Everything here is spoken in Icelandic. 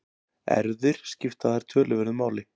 Erfðir skipta þar töluverðu máli.